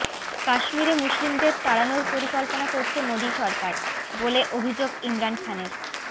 কাশ্মীরে মুসলিমদের তাড়ানোর পরিকল্পনা করছে মোদী সরকার বলে অভিযোগ ইমরান খানের